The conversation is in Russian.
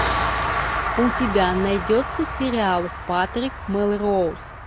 у тебя найдется сериал патрик мелроуз